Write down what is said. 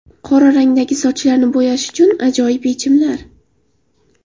Qora rangdagi sochlarni bo‘yash uchun ajoyib yechimlar.